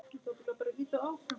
Það gengur eða gengur ekki.